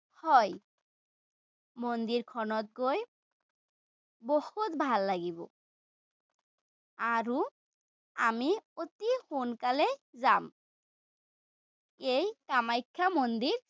হয়। মন্দিৰখনত গৈ বহুত ভাল লাগিব। আৰু আমি অতি সোনকালে যাম। এই কামাখ্যা মন্দিৰ